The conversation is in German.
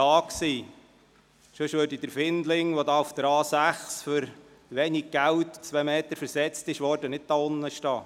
Ansonsten würde der Findling, welcher auf der Autobahn A6 für wenig Geld um zwei Meter versetzt wurde, nicht dort stehen.